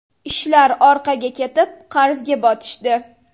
Ishlar orqaga ketib, qarzga botishdi.